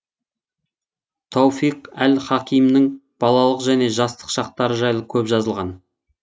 тауфиқ әл хакимнің балалық және жастық шақтары жайлы көп жазылған